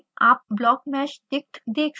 आप blockmeshdict देख सकते हैं